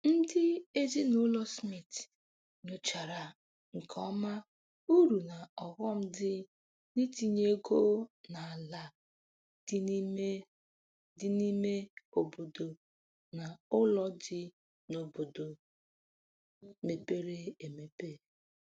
Ndị ezinaụlọ Smith nyochara nke ọma uru na ọghọm dị n'itinye ego n'ala dị n'ime dị n'ime obodo na ụlọ dị n'obodo mepere emepe.